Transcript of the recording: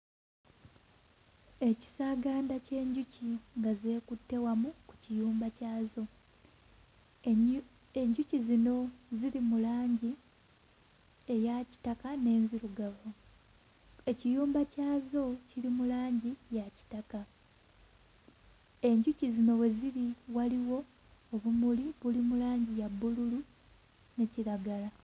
Ekisaaganda ky'enjuki nga zeekutte wamu mu kiyumba kyazo. Ennyu enjuki zino ziri mu langi eya kitaka n'enzirugavu. Ekiyumba kyazo kiri mu langi ya kitaka. Enjuki zino we ziri waliwo obumuli buli mu langi ya bbululu ne kiragala.